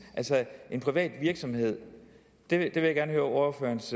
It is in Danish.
altså en privat virksomhed det vil jeg gerne høre ordførerens